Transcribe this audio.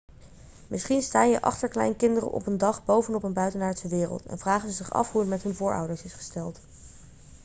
misschien staan je achterkleinkinderen op een dag bovenop een buitenaardse wereld en vragen ze zich af hoe het met hun voorouders is gesteld